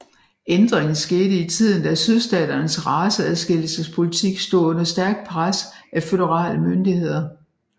Ændringen skete i tiden da sydstaternes raceadskillesespolitik stod under stærkt pres af føderale myndigheder